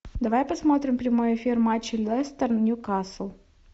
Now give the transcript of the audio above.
давай посмотрим прямой эфир матча лестер ньюкасл